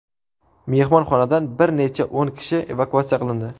Mehmonxonadan bir necha o‘n kishi evakuatsiya qilindi.